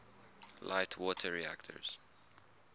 light water reactors